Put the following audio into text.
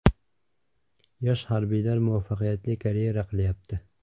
Yosh harbiylar muvaffaqiyatli karyera qilyapti.